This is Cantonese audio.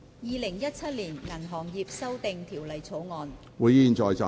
《2017年銀行業條例草案》。